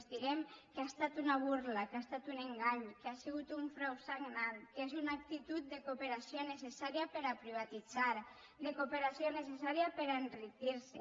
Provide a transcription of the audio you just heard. els direm que ha estat una burla que ha estat un engany i que ha sigut un frau sagnant que és una actitud de cooperació necessària per a privatitzar de cooperació necessària per a enriquir se